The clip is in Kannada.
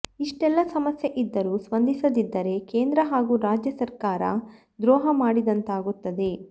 ಇಷ್ಟೆಲ್ಲ ಸಮಸ್ಯೆ ಇದ್ದರೂ ಸ್ಪಂದಿಸದಿದ್ದರೆ ಕೇಂದ್ರ ಹಾಗೂ ರಾಜ್ಯ ಸರ್ಕಾರ ದ್ರೋಹ ಮಾಡಿದಂತಾಗುತ್ತದೆ